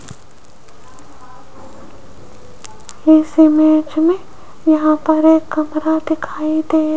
इस इमेज में यहां पर एक कमरा दिखाई दे --